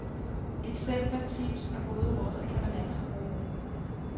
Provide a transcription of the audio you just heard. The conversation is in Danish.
Eksempler, tips og gode råd kan man altid bruge.